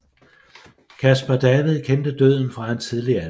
Caspar David kendte døden fra en tidlig alder